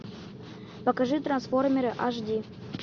покажи трансформеры аш ди